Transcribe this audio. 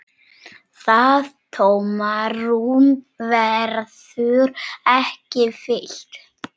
Það tómarúm verður ekki fyllt.